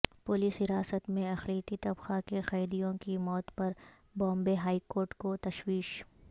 police حراست میں اقلیتی طبقہ کے قیدیوں کی موت پر بامبے ہائی کورٹ کو تشویش